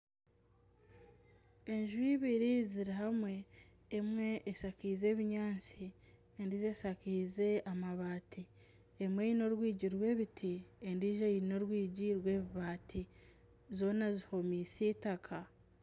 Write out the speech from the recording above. Enju ibiri ziri hamwe, emwe eshakaize ebinyaatsi, endiijo eshakaize amabaati, emwe eine orwigi rw'ebiti endiijo eine orwigi rw'ebibaati zoona zihomiise eitaka